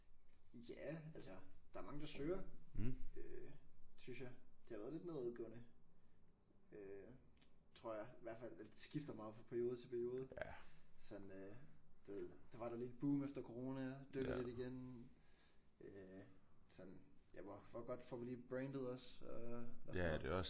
Ja altså der er mange der søger øh synes jeg. Det har været lidt nedadgående øh tror jeg i hvert fald eller det skifter meget fra periode til periode sådan du ved der var der lige et boom efter corona dykket lidt igen øh sådan ja hvor godt får vi lige brandet os og og sådan noget